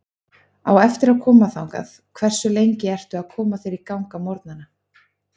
Á eftir að koma þangað Hversu lengi ertu að koma þér í gang á morgnanna?